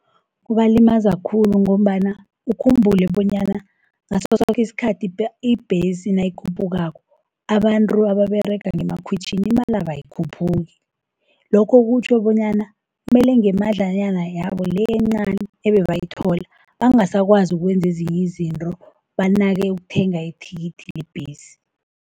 Kubalimaza khulu, ngombana ukhumbule bonyana ngasosoke isikhathi ibhesi nayikhuphukako, abantru ababerega ngemakhwitjhini imalabo ayikhuphuki. Lokho kutjho bonyana mele ngemadlanyana yabo le, encani ebebayithola bangasakwazi ukwenza ezinyi izintro banake ukuthenga ithikithi lebhesi.